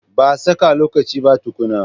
Ba saka lokaci ba kutunna